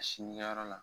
A sinkɛyɔrɔ la